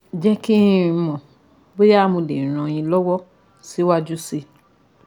Ẹ jẹ́ kí n mọ̀ bóyá mo lè ràn yín lọ́wọ́ síwájú sí i